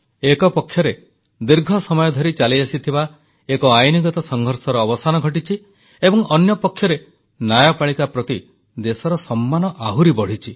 ଏକପକ୍ଷରେ ଦୀର୍ଘ ସମୟ ଧରି ଚାଲିଆସିଥିବା ଏକ ଆଇନଗତ ସଂଘର୍ଷର ଅବସାନ ହୋଇଛି ଏବଂ ଅନ୍ୟପକ୍ଷରେ ନ୍ୟାୟପାଳିକା ପ୍ରତି ଦେଶର ସମ୍ମାନ ଆହୁରି ବଢ଼ିଛି